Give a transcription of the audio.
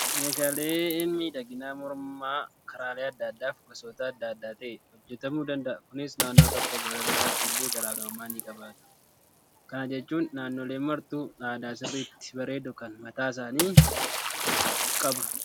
Meeshaaleen miidhaginaa mormaa karaalee adda addaa fi gosoota adda addaa ta'ee hojjatamuu danda'u. Kunis naannoo tokkoo gara biraatti illee garaagarummaa ni qabaatu. Kana jechuun naannoleen martuu aadaa sirriitti bareedu kan mataasaanii qabu.